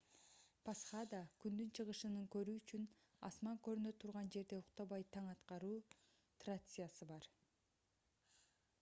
пасхада күндүн чыгышын көрүү үчүн асман көрүнө турган жерде уктабай таң аткаруу трациясы бар